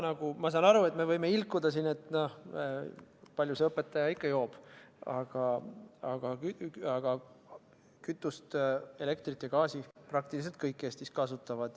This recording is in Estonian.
Ma saan aru, et me võime ilkuda siin, palju see õpetaja ikka joob, aga kütust, elektrit ja gaasi praktiliselt kõik Eestis kasutavad.